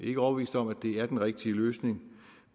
ikke overbevist om at det er den rigtige løsning